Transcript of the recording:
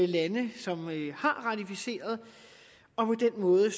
lande som har ratificeret og på den måde